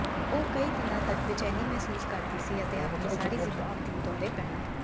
ਉਹ ਕਈ ਦਿਨਾਂ ਤਕ ਬੇਚੈਨੀ ਮਹਿਸੂਸ ਕਰਦੀ ਸੀ ਅਤੇ ਆਪਣੀ ਸਾਰੀ ਜ਼ਿੰਦਗੀ ਲਈ ਦੌਰੇ ਪੈਣਾ